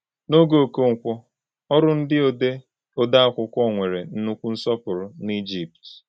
N’oge Okonkwo, ọrụ ndị ode ode akwụkwọ nwere nnukwu nsọpụrụ na Ijipt.